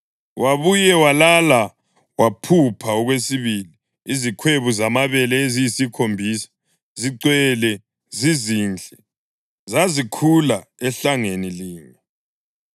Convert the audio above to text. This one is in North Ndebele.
Wabuye walala waphupha okwesibili: Izikhwebu zamabele eziyisikhombisa, zigcwele zizinhle, zazikhula ehlangeni linye.